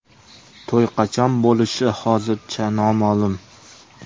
To‘y qachon bo‘lishi hozircha noma’lum .